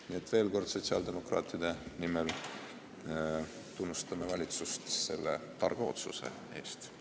Nii et ma veel kord sotsiaaldemokraatide nimel tunnustan valitsust selle targa otsuse eest!